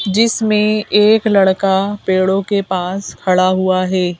जिसमें एक लड़का पेड़ों के पास खड़ा हुआ है।